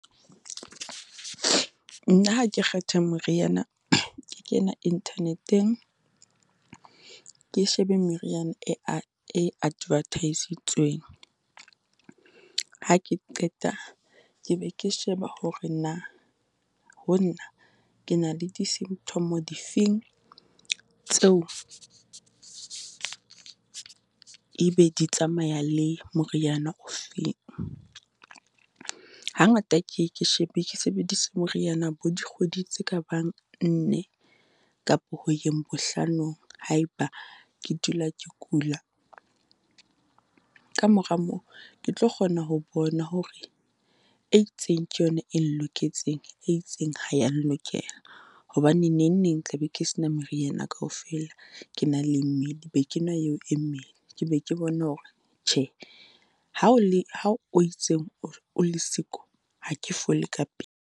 Nna ha ke kgetha moriana ke kena internet-eng, ke shebe meriana e e advert-isitsweng. Ha ke qeta ke be ke sheba hore na, ho nna ke na le di-symtom-o di feng tseo e be di tsamaya le moriana ofeng. Hangata ke ye ke shebe ke sebedise moriana bo dikgwedi tse kabang nne kapo ho yeng bohlanong. Ha e ba ke dula ke kula kamora moo, ke tlo kgona ho bona hore e itseng ke yona eng loketseng, e itseng ha yang lokela. Hobane nengneng tla be ke sena moriana yena kaofela ke na le , be kenwa eo e , ke be ke bona hore tjhe, ha o le ha o itseng o le siko, ha ke fole ka pele.